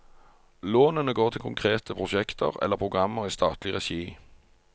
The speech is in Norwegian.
Lånene går til konkrete prosjekter eller programmer i statlig regi.